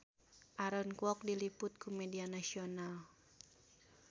Aaron Kwok diliput ku media nasional